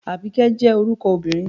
Àbíkẹ́ jẹ́ orúkọ obìnrin